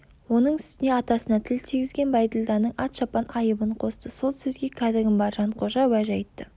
оның үстіне атасына тіл тигізген бәйділданың ат-шапан айыбын қосты сол сөзге кәдігім бар жанқожа уәж айтты